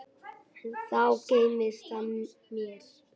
Enn þá geymist það mér.